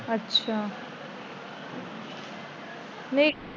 ਅੱਛਾ